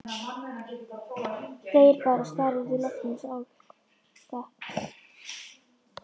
Þegir bara og starir út í loftið eins og álka.